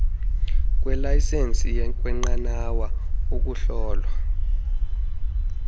kweelayisenisi kweenqanawa ukuhlolwa